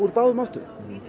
báðum áttum